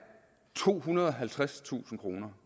tohundrede og halvtredstusind kroner